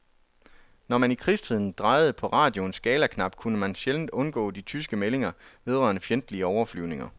Når man i krigstiden drejede på radioens skalaknap, kunne man sjældent undgå de tyske meldinger vedrørende fjendtlige overflyvninger.